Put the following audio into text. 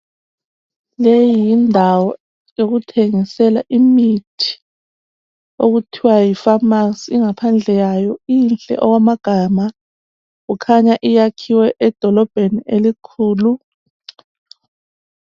Leyi yindawo yokuthengisela imithi okuthiwa yifamasi ingaphandle yayo inhle okwamagama kukhanya iyakhiwe edolobheni elikhulu.